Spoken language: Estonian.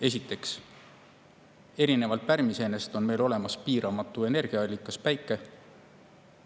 Esiteks, erinevalt pärmiseenest on meil olemas piiramatu energiaallikas – Päike.